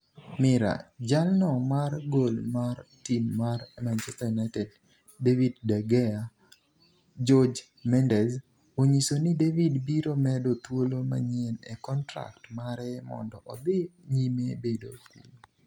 (Mirror) Jalno mar goal mar tim mar Manchester United, David De Gea, Jorge Mendes, onyiso ni David biro medo thuolo manyien e kontrak mare mondo odhi nyime bedo kuno.